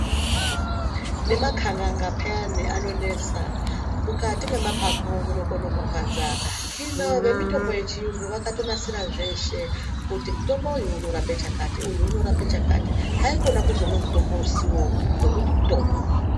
Nemakhanganganga paani anonesa ,mukati mwemaphapu munokona kurwadza hino vemutombo yechiyungu vakatonasira zveshe kuti mutombo uyu unorape chakati uyu unorape chakati ,haikona kuzomwe mutombo usiwo nekuti mutombo.